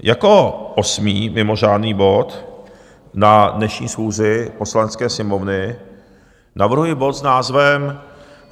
Jako osmý mimořádný bod na dnešní schůzi Poslanecké sněmovny navrhuji bod s názvem